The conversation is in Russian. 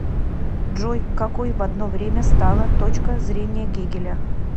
джой какой в одно время стала точка зрения гегеля